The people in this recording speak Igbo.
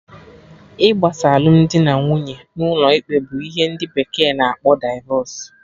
Igbasa alụmdi na nwunye n'ụlọ ikpe bụ ihe ndị bekee na akpọ divọs